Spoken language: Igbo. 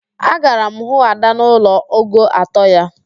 Agara m hụ Ada n'ụlọ ogo atọ ya